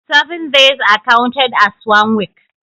Seven days are counted as one week